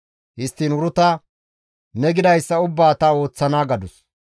Histtiin Uruta, «Ne gidayssa ubbaa ta ooththana» gadus.